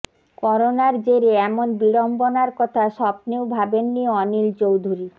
করোনার জেরে এমন বিড়ম্বনার কথা স্বপ্নেও ভাবেননি অনিল চৌধুরি